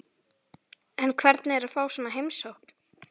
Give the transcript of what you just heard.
En hvernig er að fá svona heimsókn?